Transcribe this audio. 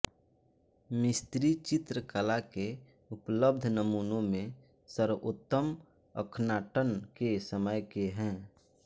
मिस्री चित्रकला के उपलब्ध नमूनों में सर्वोत्तम अख्नाटन के समय के हैं